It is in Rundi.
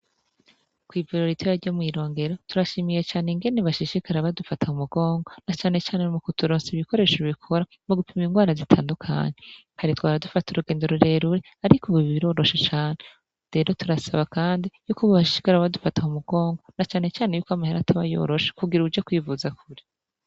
Kw'Ivuriro ritoyi ryo mwirongero turashimiye cane ingene bashishikara badufata mumugongo nacanecane mukuturonsa ibikoresho bikora mugupima ingwara zitandukanye kare twahora dufata urugendo rurerure ariko ubu biroroshe cane, rero turasaba kandi yuko boshishikara badufata mumugongo nacanecane ko amahera ataba yoroshe kugira uje kwivuza kure.